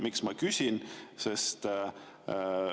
Miks ma küsin?